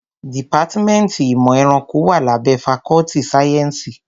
Dìpátmẹ́ntì ìmọ̀ ẹranko wá lábẹ́ fakọ́ltì sáyẹ́nsì.